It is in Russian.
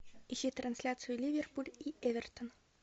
ищи трансляцию ливерпуль и эвертон